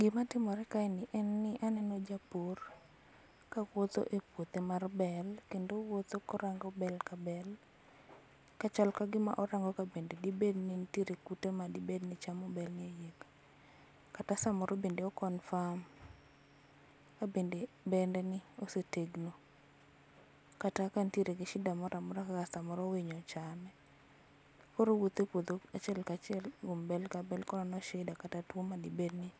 Gima timore kae en ni waneno jopur ka wuotho e puothe mar bel kendo owuotho korango bel ka bel kachal kagima orango kabende dibed ni nitiere kute ma dibedni chamo bel ni. Kata samoro be o confirm kabende bende ni osetegno kata kantiere gi shida moro amora ma samoro winy ochame. Koro owuotho e puodho achiel ka achiel kuom bel ka bel ko onono shida kata tuo ma dibedni